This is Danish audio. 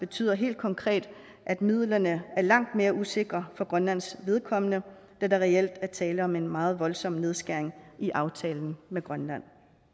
betyder helt konkret at midlerne er langt mere usikre for grønlands vedkommende da der reelt er tale om en meget voldsom nedskæring i aftalen med grønland